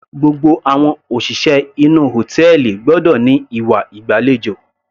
Gbogbo àwọn òṣìṣẹ́ inú hòtẹ́ẹ̀lì gbọ́dọ̀ ní ìwà ìgbàlejò.